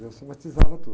Eu somatizava tudo.